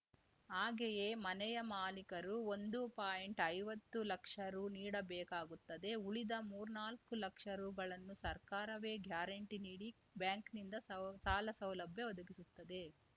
ಹಾಗೆಯೇ ಮನೆಯ ಮಾಲಿಕರು ಒಂದು ಪಾಯಿಂಟ್ಐವತ್ತು ಲಕ್ಷ ರು ನೀಡಬೇಕಾಗುತ್ತದೆ ಉಳಿದ ಮೂರ್ನಾಲ್ಕು ಲಕ್ಷ ರುಗಳನ್ನು ಸರ್ಕಾರವೇ ಗ್ಯಾರಂಟಿ ನೀಡಿ ಬ್ಯಾಂಕ್‌ನಿಂದ ಸೌ ಸಾಲಸೌಲಭ್ಯ ಒದಗಿಸುತ್ತದೆ